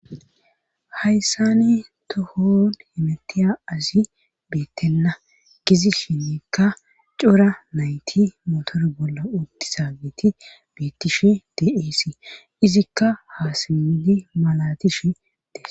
Hayssan tohon hemetiya asi beetena gidishikka cora nayti motore bolla utizageti beetishe dee'ees izikka ha simmidi malatishe dees.